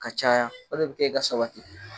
Ka caya o de be ke yen ka sabati